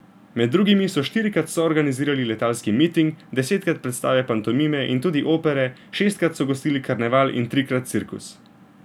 Med drugim so štirikrat soorganizirali letalski miting, desetkrat predstave pantomime in tudi opere, šestkrat so gostili karneval in trikrat cirkus.